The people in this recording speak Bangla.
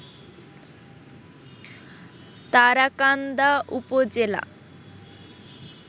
তারাকান্দা উপজেলা